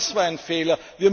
Auch das war ein Fehler.